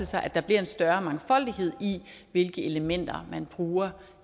sig at der bliver en større mangfoldighed i hvilke elementer man bruger